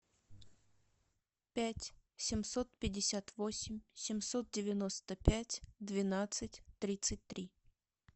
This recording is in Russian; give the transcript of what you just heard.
пять семьсот пятьдесят восемь семьсот девяносто пять двенадцать тридцать три